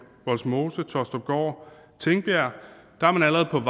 vollsmose taastrupgaard og tingbjerg er man allerede